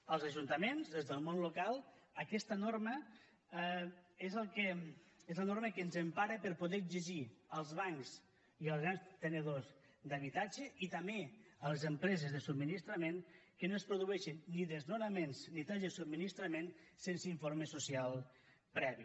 als ajuntaments des del món local aquesta norma és la norma que ens empara per poder exigir als bancs i als grans tenedors d’habitatge i també a les empreses de subministrament que no es produeixin ni desnonaments ni talls de subministrament sense informe social previ